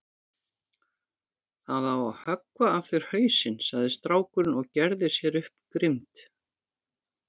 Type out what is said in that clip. Það á að höggva af þér hausinn, sagði strákurinn og gerði sér upp grimmd.